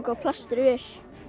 og plaströr